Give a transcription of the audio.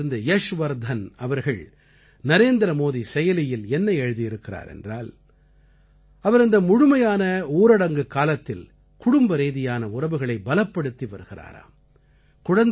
கோடாவிலிருந்து யஷ்வர்த்தன் அவர்கள் நரேந்திரமோதி செயலியில் என்ன எழுதி இருக்கிறார் என்றால் அவர் இந்த முழுமையான ஊரடங்குக் காலத்தில் குடும்பரீதியான உறவுகளை பலப்படுத்தி வருகிறாராம்